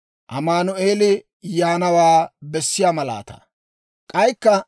K'aykka Med'inaa Goday Akaazaw;